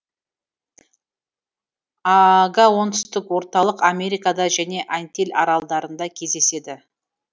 ага оңтүстік орталық америкада және антиль аралдарында кездеседі